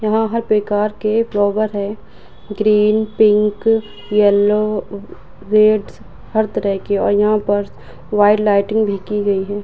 यहाँ हर प्रकार के फ्लावर है। ग्रीन पिंक येलो रेड हर तरह के और यहाँ पर व्हाइट लाइटिंग भी की गई है।